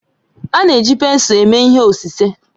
A na-eji pensụl eme ihe osise